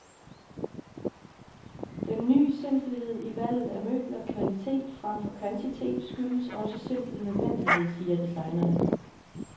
Den ny simpelhed i valget af møbler, kvalitet fremfor kvantitet, skyldes også simpel nødvendighed, siger designerne.